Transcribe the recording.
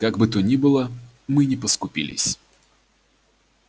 как бы то ни было мы не поскупились